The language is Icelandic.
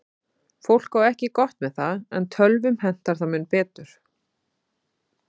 Fólk á ekki gott með það, en tölvum hentar það mun betur.